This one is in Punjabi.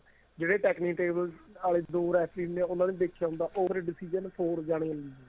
ਜਿਵੇਂ technitable ਆਲੇ ਦੋ ਰੇਫ਼ਰੀ ਨੇ ਉਹਨਾ ਨੇ ਦੇਖਿਆ ਹੋਊਗਾ ਉਹ ਵਾਲਾ decision ਹੋਰ four ਜਾਣਿਆ ਨੂੰ